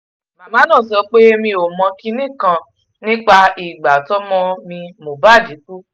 màmá náà sọ pé mi ò mọ kinní kan nípa ìgbà tọ́mọ mi mohbad kú